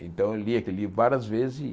Então eu li aquele livro várias vezes